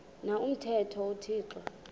na umthetho uthixo